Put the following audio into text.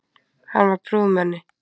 Hann var prúðmenni.